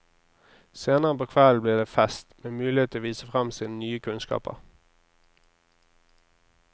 Senere på kvelden blir det fest, med mulighet til å vise frem sine nye kunnskaper.